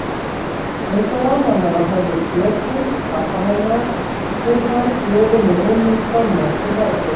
Einsog vanalega höfðu Pétri, pabba hennar, verið færð blöðin í rúmið skömmu eftir hádegið.